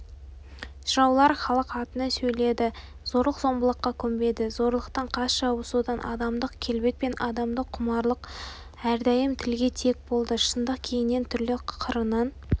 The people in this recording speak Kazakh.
жыраулар халық атынан сөйледі зорлық-зомбылыққа көнбеді зорлықтың қас жауы содан адамдық келбет пен адамдық құмарлық әрдайым тілге тиек болды шындық кеңінен түрлі қырынан